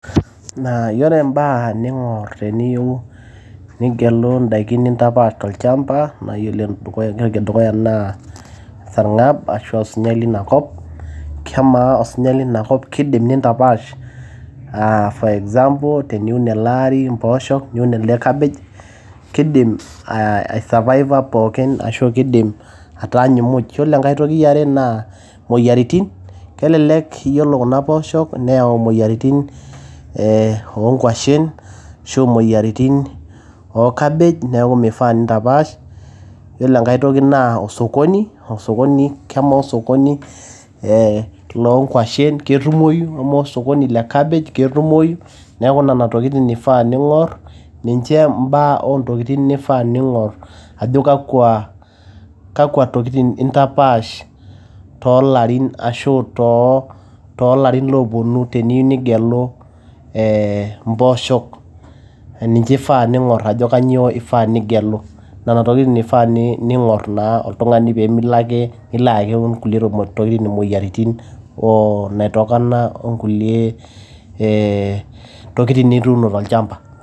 Yiolo im`baa ning`or teniyieu nigelu in`daiki nintapaash to olchamba naa yiolo ene dukuya entoki e dukuya naa esarng`ab ashu osujai lina kop. Amaa osunyai lina kop kidim nintapaash aa for example teniun ele ari mpoosho niun elde cabbage kidim ai survive pookin ashu kidim ataanyu muj. Yiolo enkae toki e are naa moyiaritin, kelelek yiolo kuna poosho neyau moyiaritin eeh oo nkuashen ashu moyiaritin oo cabbage niaku meifaa nintapaash. Yiolo enkae toki naa osokoni, osokoni kamaa osokoni loo nkuashen ketumoyu amaa osokoni le cabbage ketumoyu. Niaku nena tokitin ifaa ning`orr ninche im`baa oo ntokitin nifaa ning`orr ajo kakwa, kakwa tokitin intapaash too larin ashu too, too larin ooponu teniyieu nigelu ee mpooshok ninche eifa ning`or ajo kainyio eifaa nigelu. Nena tokitin eifaa ning`or naa oltung`ani pee milo ake nilo ayaki nkulie tokitin mmoyiaritin. Naitokana o nkulie ee tokitin nituuno tolchamba.